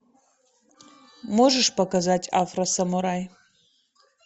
можешь показать афросамурай